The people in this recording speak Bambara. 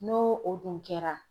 N'o o dun kɛra